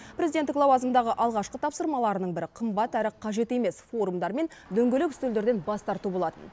президенттік лауазымдағы алғашқы тапсырмаларының бірі қымбат әрі қажет емес форумдар мен дөңгелек үстелдерден бас тарту болатын